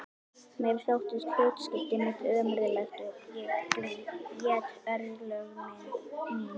Mér þótti hlutskipti mitt ömurlegt og ég grét örlög mín.